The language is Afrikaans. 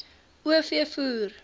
o v voer